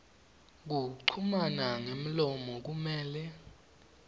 kuchumana ngemlomo kumele